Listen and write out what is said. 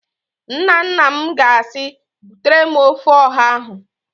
Nnanna m ga-asị, "butere m ofe ọha ahụ"!